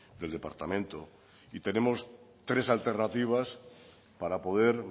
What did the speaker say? del departamento y tenemos tres alternativas para poder